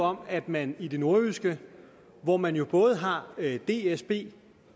om at man i det nordjyske hvor man både har dsb